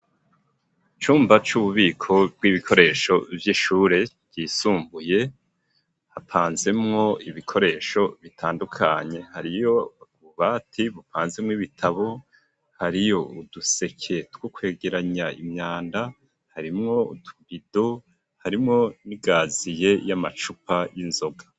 Icumba c'ububiko bw'ibikoresho vy'ishure ryisumbuye, hapanzemwo ibikoresho bitandukanye, hariyo ububati bupanzemwo ibitabo, hariyo uduseke two kwegeranya imyanda, harimwo utubido, harimwo n'ikaziye y'amacupa y'inzoga.